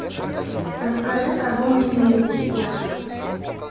расскажи про бонусные системы